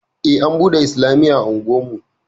Ej an buɗe islamiyya a unguwarmu